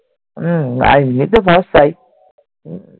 তাই